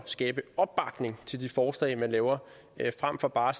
skabe opbakning til de forslag man laver frem for bare